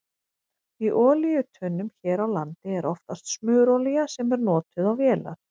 Í olíutunnum hér á landi er oftast smurolía sem er notuð á vélar.